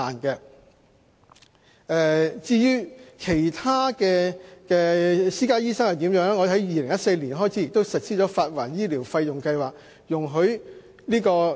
如果他們到私家醫生診所求診，政府亦已在2014年開始實施發還醫療費用計劃。